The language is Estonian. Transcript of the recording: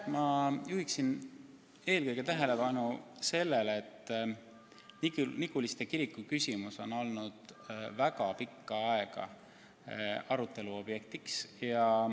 Ma juhin eelkõige tähelepanu sellele, et Niguliste kiriku küsimus on olnud väga pikka aega arutelu objekt.